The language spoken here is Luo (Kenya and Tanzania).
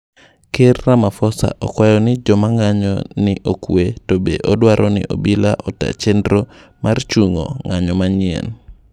Ker Ramaphosa okwayo jomang'anyo ni okwee to be odwaroni obila otaa chendro mar chungo ng'anyo manyieny.